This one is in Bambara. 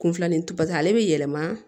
Kun filanin to paseke ale bɛ yɛlɛma